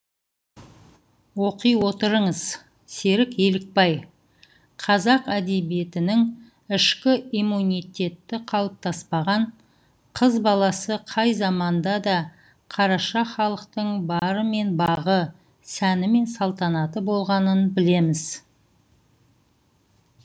оқи отырыңыз серік елікбай қазақ әдебиетінің ішкі иммунитеті қалыптаспаған қыз баласы қай заманда да қараша халықтың бары мен бағы сәні мен салтанаты болғанын білеміз